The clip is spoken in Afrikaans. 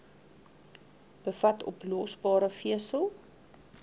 bevat oplosbare vesel